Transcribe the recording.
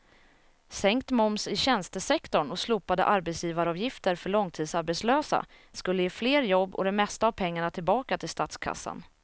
Sänkt moms i tjänstesektorn och slopade arbetsgivaravgifter för långtidsarbetslösa skulle ge fler jobb och det mesta av pengarna tillbaka till statskassan.